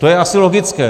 To je asi logické.